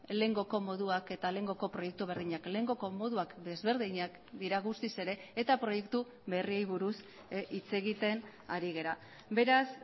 lehengoko moduak eta lehengoko proiektu berdinak lehengoko moduak desberdinak dira guztiz ere eta proiektu berriei buruz hitz egiten ari gara beraz